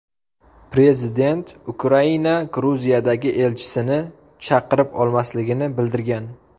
Prezident Ukraina Gruziyadagi elchisini chaqirib olmasligini bildirgan.